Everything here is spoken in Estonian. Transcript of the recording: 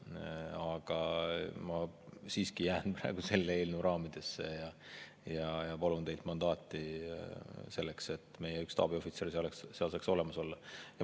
Aga ma siiski jään selle eelnõu raamidesse, millega me palume teilt mandaati selleks, et meie üks staabiohvitser saaks seal olla.